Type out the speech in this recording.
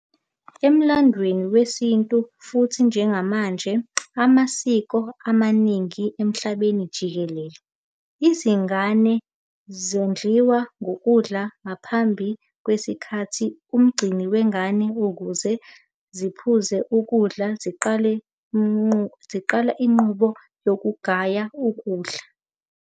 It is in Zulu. Emlandweni wesintu futhi njengamanje ngamasiko amaningi emhlabeni jikelele, izingane zondliwa ngokudla ngaphambi kwesikhathi ngumgcini wengane ukuze zikuphuze ukudla ziqale inqubo yokugaya ukudla.